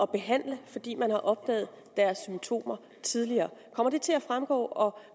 behandle fordi man har opdaget deres symptomer tidligere kommer det til at fremgå og